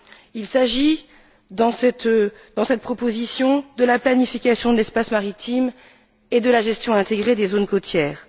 Il s'agit dans cette proposition de la planification de l'espace maritime et de la gestion intégrée des zones côtières.